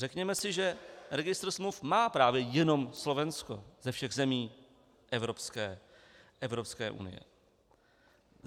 Řekněme si, že registr smluv má právě jenom Slovensko ze všech zemí Evropské unie.